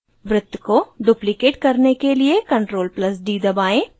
वृत्त को duplicate करने के लिए ctrl + d दबाएं